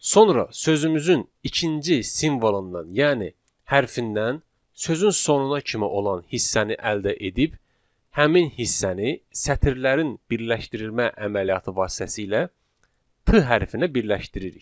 Sonra sözümüzün ikinci simvolundan, yəni hərfindən sözün sonuna kimi olan hissəni əldə edib, həmin hissəni sətirlərin birləşdirilmə əməliyyatı vasitəsilə p hərfinə birləşdiririk.